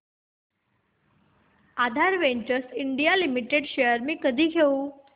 आधार ventures India limited shares मी कधी घेऊ